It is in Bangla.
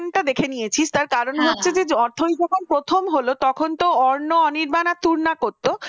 দেখে নিয়েছিস তার কারণ হচ্ছে যে অথৈ যখন প্রথম হলো তখন তো আরনা অনির্বাণ আর তূর্ণার করত ওটাই দেখেছে মানে হ্যাঁ ।